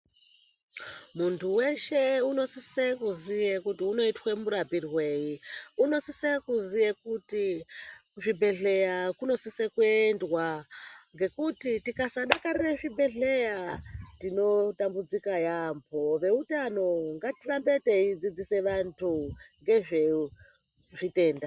Muntu weshe unosise kuziye kuti unoitwe murapirwei unosise kuziya kuti kuzvibhedhleya kunosisa kuendwa ngekuti tikasadakarira zvibhedhleya tinoneseka yambho, veutano ngatirambe teidzidzisa vanthu ngezvezvitenda.